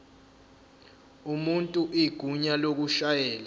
umuntu igunya lokushayela